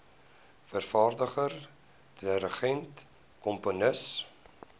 vervaardiger dirigent komponis